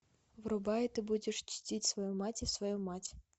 врубай ты будешь чтить свою мать и свою мать